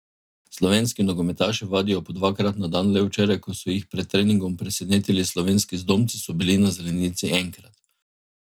Slovenski nogometaši vadijo po dvakrat na dan, le včeraj, ko so jih pred treningom presenetili slovenski zdomci, so bili na zelenici enkrat.